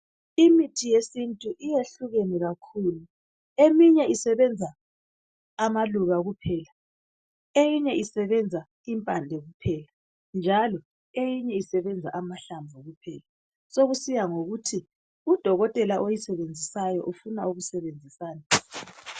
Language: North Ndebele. Imithi yesintu iyehlukene kakhulu, eminye isebenza amaluba kuphela. Eyinye isebenza impande kuphela njalo eyinye isebenza amahlamvu kuphela. Sokusiya ngokuthi udokotela oyisebenzisayo ufuna ukusebenzisani.